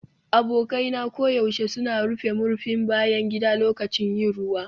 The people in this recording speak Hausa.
Abokai na koyaushe suna rufe murfin bayan gida lokacin yin ruwa.